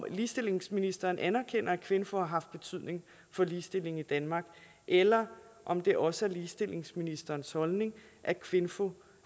ligestillingsministeren anerkender at kvinfo har haft betydning for ligestillingen i danmark eller om det også er ligestillingsministerens holdning at kvinfo